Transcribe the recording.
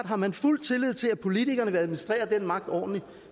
har man fuld tillid til at politikerne vil administrere den magt ordentligt